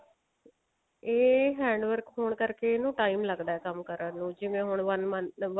ਇਹ handwork ਹੋਣ ਕਰਕੇ ਇਹਨੂੰ time ਲੱਗਦਾ ਕੰਮ ਕਰਨ ਨੂੰ ਜਿਵੇਂ ਹੁਣ one